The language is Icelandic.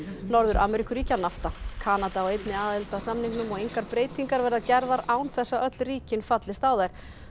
Norður Ameríkuríkja Kanada á einnig aðild að samningnum og engar breytingar verða gerðar án þess að öll ríkin fallist á þær